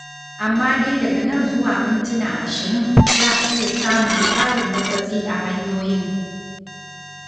Amma dai daga nan zuwa mintuna ashirin za a iya samun ƙarin matsatsi a hanyoyin.